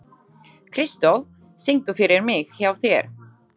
Kristó, syngdu fyrir mig „Hjá þér“.